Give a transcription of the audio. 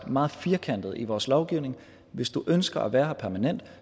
meget firkantet i vores lovgivning at hvis du ønsker at være her permanent